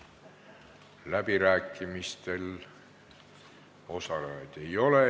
Läbirääkimistel osalejaid ei ole.